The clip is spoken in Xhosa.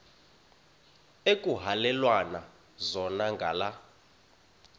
ekuhhalelwana zona ngala